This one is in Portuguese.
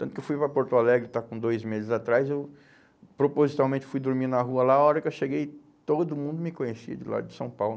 Tanto que eu fui para Porto Alegre, está com dois meses atrás, eu propositalmente fui dormir na rua lá, a hora que eu cheguei, todo mundo me conhecia de lá de São Paulo.